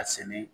A sɛnɛ